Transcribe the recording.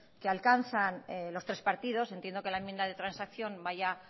que alcanzan los tres partidos entiendo que la enmienda de transacción vaya